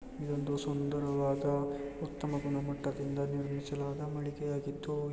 ಇದೊಂದು ಸುಂದರವಾದ ಉತ್ತಮ ಗುಣಮಟ್ಟದಿಂದ ನಿರ್ಮಿಸಲಾದ ಮಳಿಗೆ ಆಗಿದ್ದು--